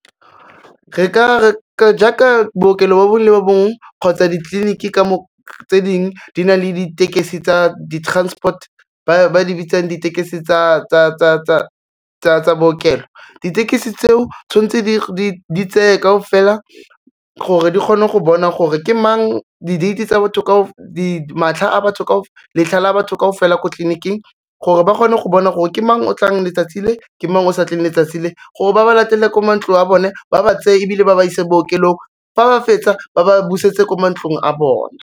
Jaaka bookelo bo bongwe le bo bongwe kgotsa ditleliniki tse dingwe di na le ditekesi tsa di-transport, ba di bitsang ditekesi tsa bookelo, ditekisi tseo tshwanetse di tseye kaofela gore di kgone go bona gore ke mang, di-date-e tsa batho letlha la batho kaofela ko tliliniking gore ba kgone go bona gore ke mang o tlang letsatsi le, ke mang o sa tleng letsatsi le, gore ba ba latele ko mantlong a bone, ba ba tse ebile ba ba ise bookelong fa ba fetsa ba ba busetse ko mantlong a bona.